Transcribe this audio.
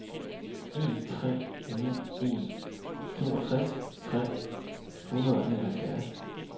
en tre ni en toogtres tre hundrede og enoghalvfjerds